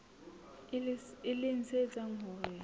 e leng se etsang hore